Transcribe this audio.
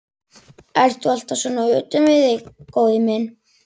Ertu alltaf svona utan við þig, góði minn?